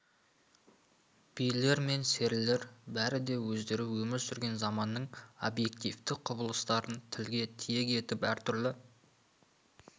билер мен серілер бәрі де өздері өмір сүрген заманның объективті құбылыстарын тілге тиек етіп әртүрлі